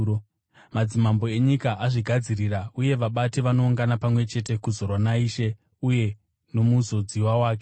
Madzimambo enyika azvigadzirira uye vabati vanoungana pamwe chete kuzorwa naIshe uye noMuzodziwa Wake.’